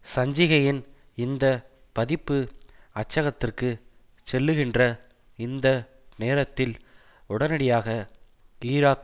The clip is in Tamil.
சஞ்சிகையின் இந்த பதிப்பு அச்சகத்திற்குச் செல்லுகின்ற இந்த நேரத்தில் உடனடியாக ஈராக்